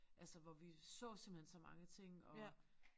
Altså hvor vi så simpelthen så mange ting og